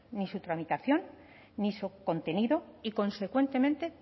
ni su tramitación ni su contenido y consecuentemente